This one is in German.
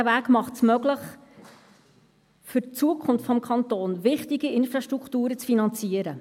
Dieser Weg macht es für die Zukunft des Kantons möglich, wichtige Infrastrukturen zu finanzieren.